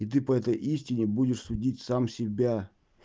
и ты по этой истине будешь судить сам себя